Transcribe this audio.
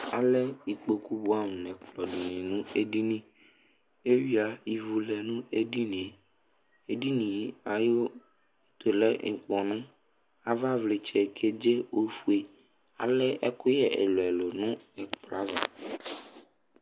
Alɛ ikpoku bʋɛamʋ nʋ ɛkplɔ nʋ edini Eyuiǝ ivu lɛ nʋ edini yɛ Edini yɛ ayʋ ɛtʋ lɛ ʋkpɔnʋ Avavlɩtsɛ kedze ofue Alɛ ɛkʋyɛ ɛlʋ-ɛlʋ nʋ ɛkplɔ ava